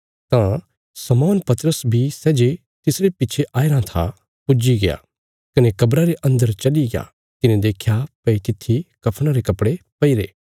तां शमौन पतरस बी सै जे तिसरे पिच्छे आयाराँ था पुज्जीग्या कने कब्रा रे अन्दर चलिग्या तिने देख्या भई तित्थी कफ़णा रे कपड़े पईरे